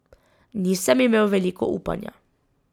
Nisem imel veliko upanja.